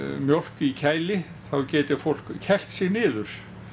mjólk í kæli geti fólk kælt sig niður